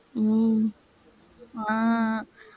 உம் ஆஹ்